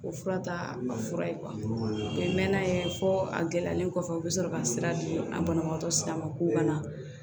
O fura ta fura ye mɛn'a ye fɔ a gɛlɛyalen kɔfɛ u bɛ sɔrɔ ka sira di an banabagatɔ sira ma k'u kana